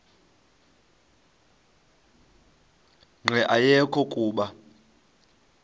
nqe ayekho kuba